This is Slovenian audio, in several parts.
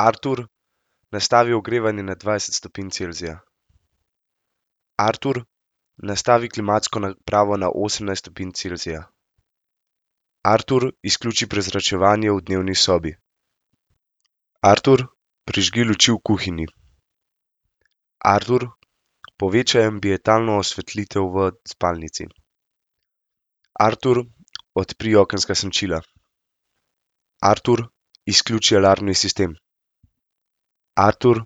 Artur, nastavi ogrevanje na dvajset stopinj Celzija. Artur, nastavi klimatsko napravo na osemnajst stopinj Celzija. Artur, izključi prezračevanje v dnevni sobi. Artur, prižgi luči v kuhinji. Artur, povečaj ambientalno osvetlitev v spalnici. Artur, odpri okenska senčila. Artur, izključi alarmni sistem. Artur,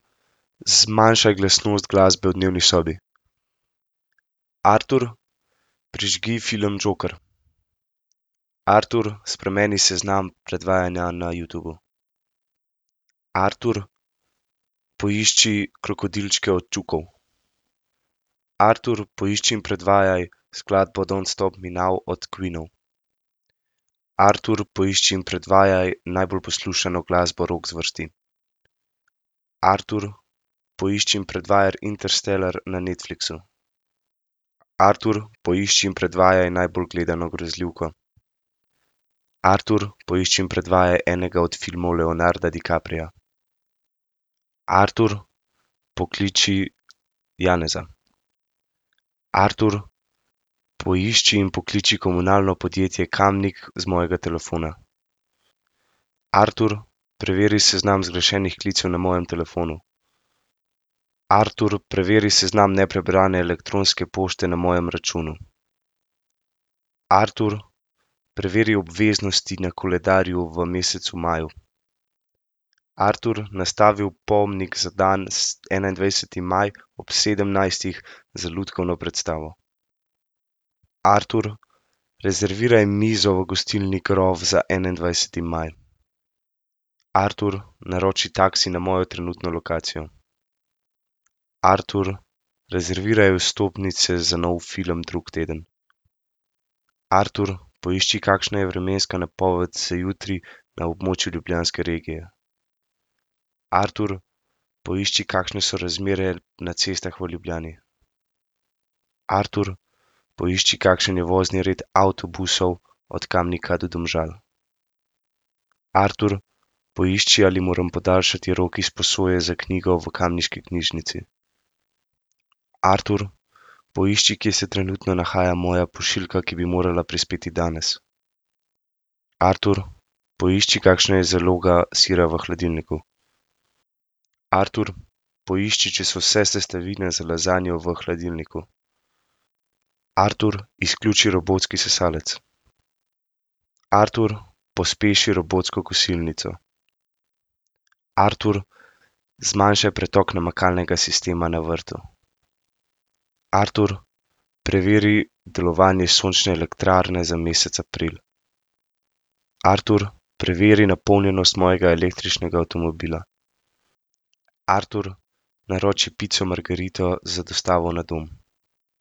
zmanjšaj glasnost glasbe v dnevni sobi. Artur, prižgi film Joker. Artur, spremeni seznam predvajanja na Youtubu. Artur, poišči Krokodilčke od Čukov. Artur, poišči in predvajaj skladbo Don't stop me now od Queenov. Artur, poišči in predvajaj najbolj poslušano glasbo rock zvrsti. Artur, poišči in predvajaj Interstellar na Netflixu. Artur, poišči in predvajaj najbolj gledano grozljivko. Artur, poišči in predvajaj enega od filmov Leonarda DiCapria. Artur, pokliči Janeza. Artur, poišči in pokliči Komunalno podjetje Kamnik z mojega telefona. Artur, preveri seznam zgrešenih klicev na mojem telefonu. Artur, preveri seznam neprebrane elektronske pošte na mojem računu. Artur, preveri obveznosti na koledarju v mesecu maju. Artur, nastavi opomnik za dan enaindvajseti maj ob sedemnajstih za lutkovno predstavo. Artur, rezerviraj mizo v gostilni Grof za enaindvajseti maj. Artur, naroči taksi na mojo trenutno lokacijo. Artur, rezerviraj vstopnice za nov film drug teden. Artur, poišči, kakšna je vremenska napoved za jutri na območju ljubljanske regije. Artur, poišči, kakšne so razmere na cestah v Ljubljani. Artur, poišči, kakšen je vozni red avtobusov od Kamnika do Domžal. Artur, poišči, ali moram podaljšati rok izposoje za knjigo v kamniški knjižnici. Artur, poišči, kje se trenutno nahaja moja pošiljka, ki bi morala prispeti danes. Artur, poišči, kakšna je zaloga sira v hladilniku. Artur, poišči, če so vse sestavine za lazanjo v hladilniku. Artur, izključi robotski sesalec. Artur, pospeši robotsko kosilnico. Artur, zmanjšaj pretok namakalnega sistema na vrtu. Artur, preveri delovanje sončne elektrarne za mesec april. Artur, preveri napolnjenost mojega električnega avtomobila. Artur, naroči pico margarito z dostavo na dom.